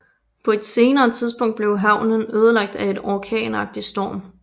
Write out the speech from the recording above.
På et senere tidspunkt blev havnen ødelagt af en orkanagtig storm